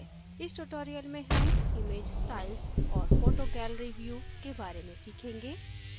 इस tutorial में हम image styles और photo gallery view के बारे में सीखेंगे